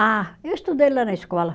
Ah, eu estudei lá na escola.